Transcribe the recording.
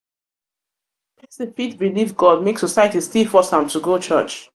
pesin fit belief god make society still society still force am to go church.